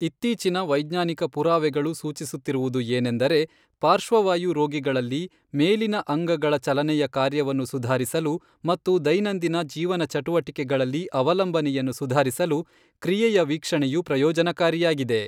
ಇತ್ತೀಚಿನ ವೈಜ್ಞಾನಿಕ ಪುರಾವೆಗಳು ಸೂಚಿಸುತ್ತಿರುವುದು ಏನೆಂದರೆ, ಪಾರ್ಶ್ವವಾಯು ರೋಗಿಗಳಲ್ಲಿ ಮೇಲಿನ ಅಂಗಗಳ ಚಲನೆಯ ಕಾರ್ಯವನ್ನು ಸುಧಾರಿಸಲು ಮತ್ತು ದೈನಂದಿನ ಜೀವನ ಚಟುವಟಿಕೆಗಳಲ್ಲಿ ಅವಲಂಬನೆಯನ್ನು ಸುಧಾರಿಸಲು ಕ್ರಿಯೆಯ ವೀಕ್ಷಣೆಯು ಪ್ರಯೋಜನಕಾರಿಯಾಗಿದೆ.